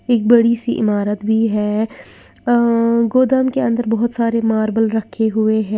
एक बड़ी सी इमारत भी है अअ गोदाम के अंदर बहोत सारे मार्बल रखे हुए हैं।